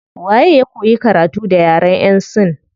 Waye ya koyi karatu da yaren yan sin